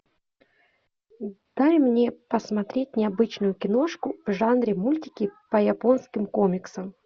дай мне посмотреть необычную киношку в жанре мультики по японским комиксам